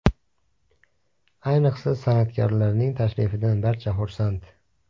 Ayniqsa, san’atkorlarning tashrifidan barcha xursand.